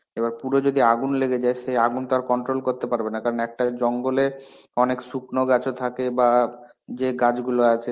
এবার পুরো যদি আগুন লেগে যায় সে আগুন তো আর controll করতে পারবে না কারণ একটাই জঙ্গলে অনেক শুকনো গাছও থাকে বা যে গাছগুলো আছে,